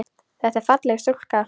Þetta er falleg stúlka.